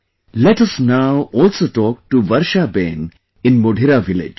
Let us now also talk to Varsha Behen in Modhera village